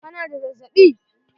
Ka na da zazzaɓi?